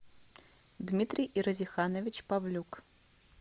дмитрий иразиханович павлюк